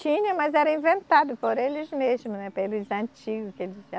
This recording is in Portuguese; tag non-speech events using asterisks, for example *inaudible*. Tinha, mas era inventado por eles mesmo, né, pelos antigo. *unintelligible*